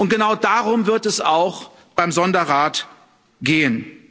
Genau darum wird es auch beim Sonderrat gehen.